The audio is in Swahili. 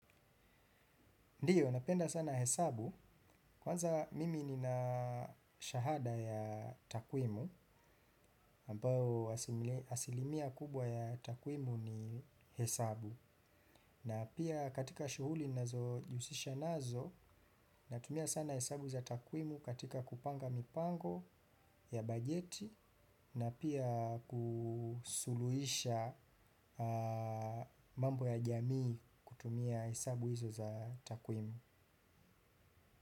Ndiyo, napenda sana hesabu. Kwanza mimi nina shahada ya takwimu, ambao asilimia kubwa ya takwimu ni hesabu. Na pia katika shughuli ninazojihusisha nazo natumia sana hesabu za takwimu katika kupanga mipango ya bajeti na pia kusuluhisha mambo ya jamii kutumia hesabu hizo za takwimu.